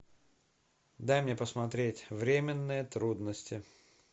дай мне посмотреть временные трудности